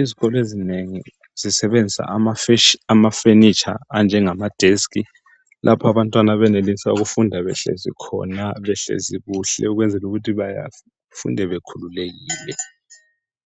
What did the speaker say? Izikolo ezinengi zisebenzisa ama furniture anjenga matafula lapho abantwana abenelisa ukufunda behlezi khona behlezi kuhle ukwenzela ukuthi befunde bekhululekile